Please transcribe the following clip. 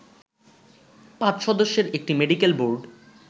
পাঁচ সদস্যের একটি মেডিকেল বোর্ড